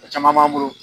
A caman b'an bolo